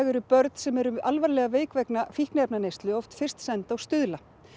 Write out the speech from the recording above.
eru börn sem eru alvarlega veik vegna fíkniefnaneyslu oft fyrst send á Stuðla